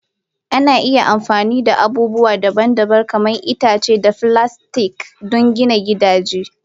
Ana iya amfani da abubuwa daban-daban kamar itace da filastik don gina gidaje.